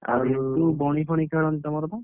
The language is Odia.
ଆଉ ଆଉ ଲିପୁ ବଣି ଫଣୀ ଖେଳନ୍ତି ତମର ବା?